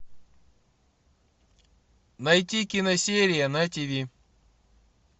найти киносерия на тв